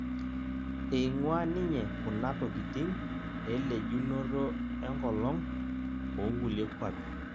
Eing'ua ninye kuna tokitin elejunoto enkolong' onkulie kwapi